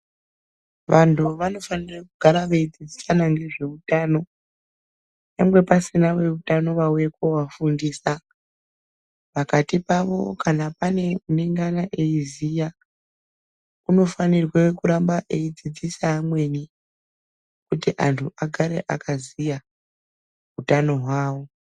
Vantu vanofanira kugara veidzidzisana ngezveutano nyangwe pasina veutano vauya koovafundisa. Pakati pavo kana pane unge eiziya unofanirwe kuramba eidzidzisa amweni kuti antu agare akaziya hutano hwavo.